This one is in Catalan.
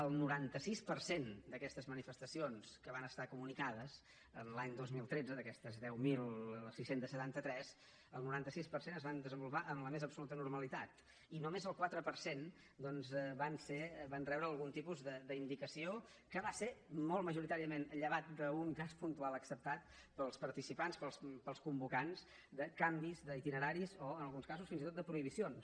el noranta sis per cent d’aquestes manifestacions que van ser comunicades l’any dos mil tretze d’aquestes deu mil sis cents i setanta tres el noranta sis per cent es van desenvolupar amb la més absoluta normalitat i només el quatre per cent doncs van rebre algun tipus d’indicació que va ser molt majoritàriament llevat d’un cas puntual acceptat pels participants pels convocants de canvis d’itineraris o en alguns casos fins i tot de prohibicions